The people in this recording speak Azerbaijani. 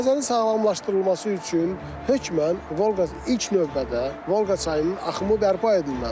Xəzərin sağlamlaşdırılması üçün hökmən Volqa ilk növbədə Volqa çayının axımı bərpa edilməlidir.